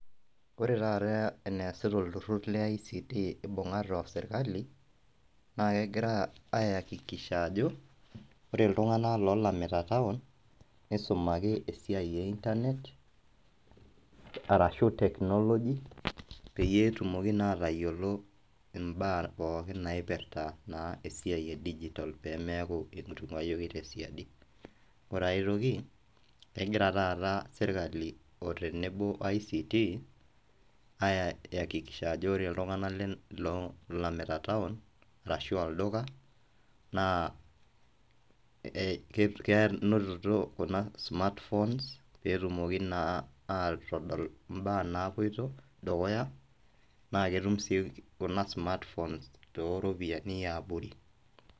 Ore taata eneasita olturur le ICT ibung'ate osirkali, naa kegira aakikisha ajo ore iltung'anak oolamita taon, nisumaki esiai e internet arashu technology peyie etumoki naa atayiolo imbaa pookin naipirta naa esiai e digital peemeeku ketunkayieki tesiadi. Ore ai toki kegira taata sirkali otenebo ICT akakikisha ajo ore iltunganak loolamita taon ashuu olduka, naa kenotito kuna smartphone peetumoki naa aatodol imbaa naapoito dukuya naaketum sii kuna smartphone tooropiyiani eabori.